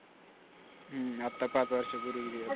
हम्म आत्ता पाच वर्षापूर्वी